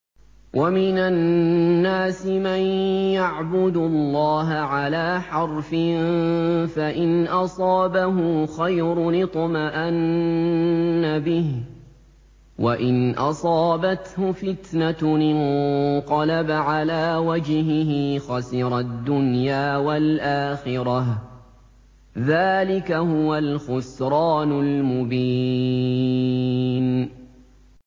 وَمِنَ النَّاسِ مَن يَعْبُدُ اللَّهَ عَلَىٰ حَرْفٍ ۖ فَإِنْ أَصَابَهُ خَيْرٌ اطْمَأَنَّ بِهِ ۖ وَإِنْ أَصَابَتْهُ فِتْنَةٌ انقَلَبَ عَلَىٰ وَجْهِهِ خَسِرَ الدُّنْيَا وَالْآخِرَةَ ۚ ذَٰلِكَ هُوَ الْخُسْرَانُ الْمُبِينُ